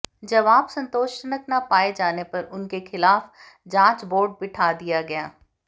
जवाब संतोषजनक न पाए जाने पर उनके खिलाफ जांच बोर्ड बिठा दिया गया